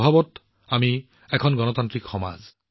স্বভাৱগতভাৱে আমি এক গণতান্ত্ৰিক সমাজ